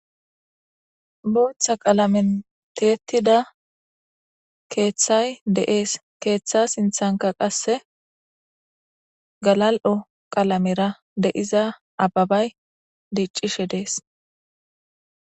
Booththa qalamen teetida keeththay deees keeththa sinthanka qasse galal'o qalamera deiza ababay diiccishe dees.